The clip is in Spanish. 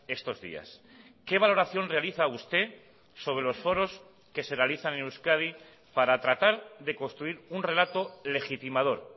estos días qué valoración realiza usted sobre los foros que se realizan en euskadi para tratar de construir un relato legitimador